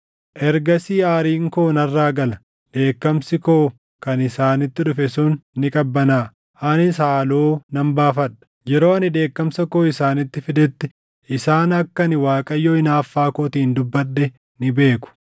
“Ergasii aariin koo narraa gala; dheekkamsi koo kan isaanitti dhufe sun ni qabbanaaʼa; anis haaloo nan baafadha. Yeroo ani dheekkamsa koo isaanitti fidetti isaan akka ani Waaqayyo hinaaffaa kootiin dubbadhe ni beeku.